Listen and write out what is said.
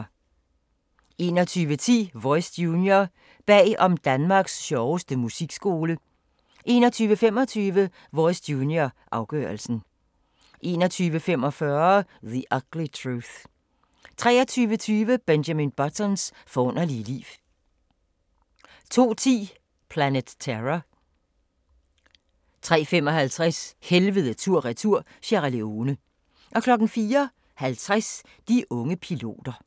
21:10: Voice Junior – bag om Danmarks sjoveste musikskole 21:25: Voice Junior – afgørelsen 21:45: The Ugly Truth 23:20: Benjamin Buttons forunderlige liv 02:10: Planet Terror 03:55: Helvede tur/retur – Sierra Leone 04:50: De unge piloter